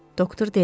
Doktor dedi.